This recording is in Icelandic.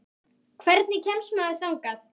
Hvernig kemst maður þangað?